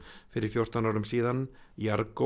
fyrir fjórtán árum